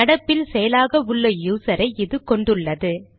நடப்பில் செயலாக உள்ள யூசரை இது கொண்டுள்ளது